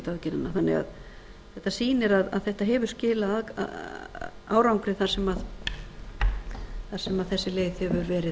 þannig að þetta sýnir að þetta hefur skilað árangri þar sem þessi leið hefur verið